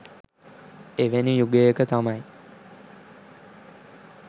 එවැනි යුගයක තමයි